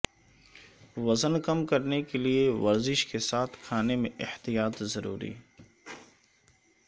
وزن کم کرنے کیلئے ورزش کیساتھ کھانے میں احتیاط ضروری